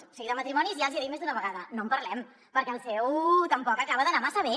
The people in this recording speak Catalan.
o sigui de matrimonis ja els hi he dit més d’una vegada no en parlem perquè el seu tampoc acaba d’anar massa bé